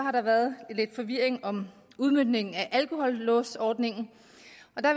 har været lidt forvirring om udmøntningen af alkohollåsordningen